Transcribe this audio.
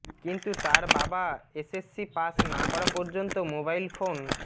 কিন্তু তার বাবা এসএসসি পাস না করা পর্যন্ত মোবাইল ফোন